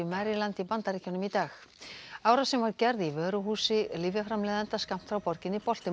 Bandaríkjunum í dag árásin var gerð í vöruhúsi skammt frá borginni Baltimore